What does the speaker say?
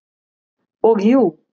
Og jú.